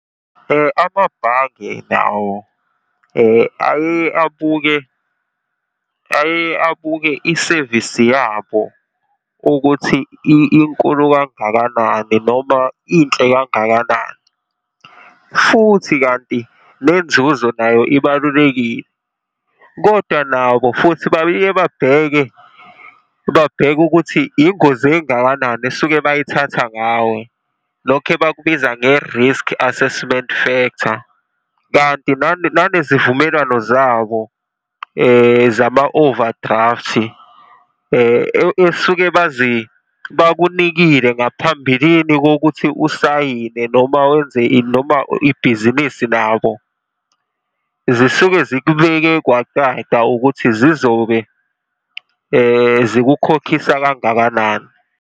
Amabhange nawo ayeye abuke, ayeye abuke isevisi yabo ukuthi inkulu kangakanani, noma inhle kangakanani. Futhi kanti nenzuzo nayo ibalulekile. Kodwa nabo futhi babiye babheke, babheke ukuthi ingozi engakanani esuke bayithatha ngawe. Lokhu ebakubiza nge-risk assessment factor kanti nanezivumelwano zabo zama-overdraft esuke bakunikile ngaphambilini kokuthi usayine noma wenze ini noma ibhizinisi nabo zisuke zikubeke kwacaca ukuthi zizobe zikukhokhisa kangakanani.